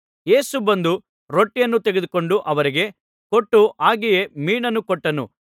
ಯೇಸು ಬಂದು ರೊಟ್ಟಿಯನ್ನು ತೆಗೆದುಕೊಂಡು ಅವರಿಗೆ ಕೊಟ್ಟನು ಹಾಗೆಯೇ ಮೀನನ್ನೂ ಕೊಟ್ಟನು